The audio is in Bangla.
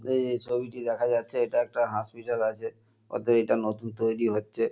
এই যে ছবিটি দেখা যাচ্ছে এটা একটা হাসপিটাল আছে অতয়ে এটা নতুন তৈরি হচ্ছে।